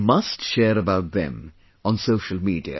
You must share about them on social media